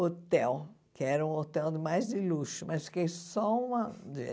Hotel, que era um hotel mais de luxo, mas fiquei só uma dia.